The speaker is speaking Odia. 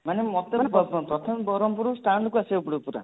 ମାନେ ମୋତେ କୁହନ୍ତୁ ପ୍ରଥମେ ବରମ୍ପୁର stand କୁ ଆସିବାକୁ ପଡିବ ପୁରା